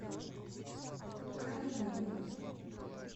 калининой